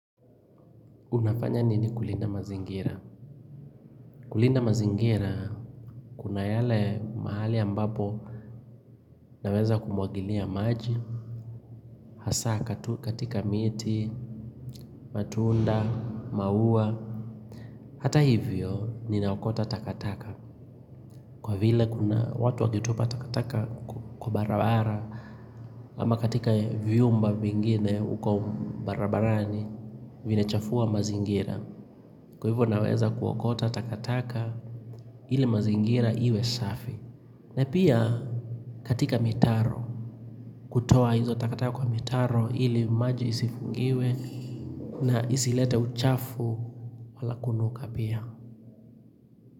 Unafanya nini kulinda mazingira? Kulinda mazingira, kuna yale mahali ambapo naweza kumuagilia maji, hasa katika miti, matunda, maua, hata hivyo, ninaokota takataka. Kwa vile kuna, watu wakitupa takataka kwa barabara, ama katika vyumba vingine huko barabarani, vinachafua mazingira. Kwa hivyo naweza kuokota takataka ili mazingira iwe safi na pia katika mitaro kutoa hizo takataka kwa mitaro ili maji isifungiwe na isilete uchafu wala kunuka pia.